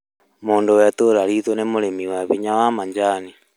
Mũndũ wa itũra riitũ nĩ mũrĩmi wa hinya wa macani